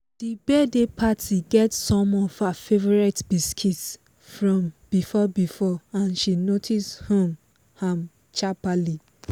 the birthday party get some of her favourite biscuits from before before and she notice um am sharperly